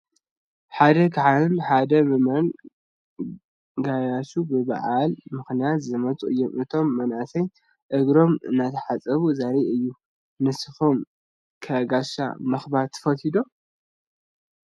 ሓደ ካህንን ሓደ ምእመንን ጋያሹ ብበዓል ምኽንያት ዝመፁ እዮም፡፡ እቶም መናእሰይ እግሮም እንትሓፅብዎም ዘርኢ እዩ፡፡ ንስኹም ከ ጋሻ ምኽባር ትፈልጡ ዶ?